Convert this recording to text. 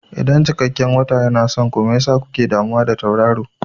Idan cikakken wata yana son ku, me yasa kuke damuwa da tauraro?